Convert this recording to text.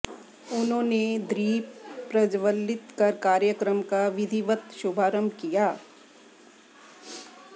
उन्होंने दीप प्रज्वलित कर कार्यक्रम का विधिवत शुभारंभ किया